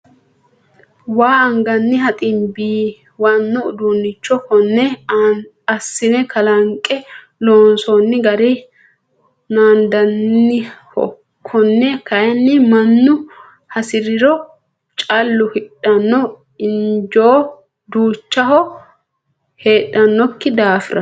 Waa anganniha xiimbiwano uduuncho kone assine kalanqe loonsonni gari naandaniho kone kayinni mannu hasirihu callu hidhano injo duuchaho heedhanokki daafira.